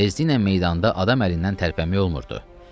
Tezliklə meydanda adam əlindən tərpənmək olmurdu.